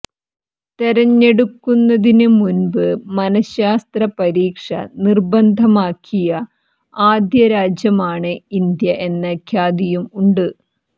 തെരഞ്ഞെടുക്കുന്നതിന് മുന്പ് മനഃശാസ്ത്ര പരീക്ഷ നിര്ബന്ധമാക്കിയ ആദ്യരാജ്യമാണ് ഇന്ത്യ എന്ന ഖ്യാതിയും ഉണ്ട്